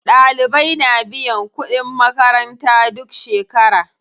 Ɗalibai na biyan kuɗin makaranta duk shekera.